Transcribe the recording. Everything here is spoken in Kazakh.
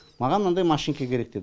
маған мынандай машинка керек деді